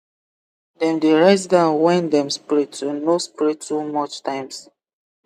dem dey write down when dem spray to no spray too much times